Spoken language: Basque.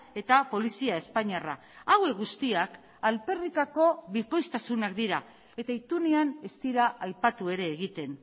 eta polizia espainiarra hauek guztiak alferrikako bikoiztasunak dira eta itunean ez dira aipatu ere egiten